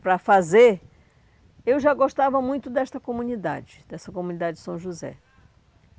para fazer, eu já gostava muito desta comunidade, desta comunidade de São José.